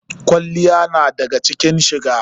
Kwalliya na daga cikin shiga.